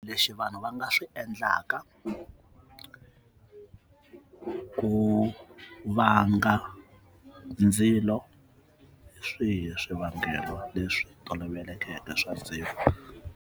Lexi vanhu va nga swi endlaka ku ku va nga ndzilo swihi swivangelo leswi tolovelekeke swa siku.